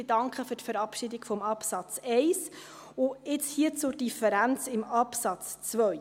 Ich danke für die Verabschiedung des Absatzes 1, und jetzt zur Differenz im Absatz 2: